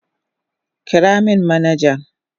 Kira min manajan.